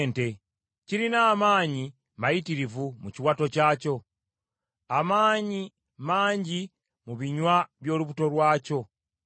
nga kirina amaanyi mayitirivu mu kiwato kyakyo amaanyi mangi mu binywa by’olubuto lwakyo.